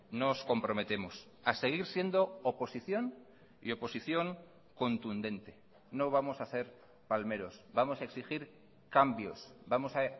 nos comprometemos a seguir siendo oposición y oposición contundente no vamos a ser palmeros vamos a exigir cambios vamos a